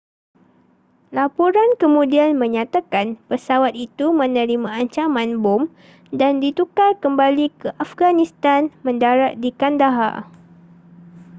laporan kemudian menyatakan pesawat itu menerima ancaman bom dan ditukar kembali ke afghanistan mendarat di kandahar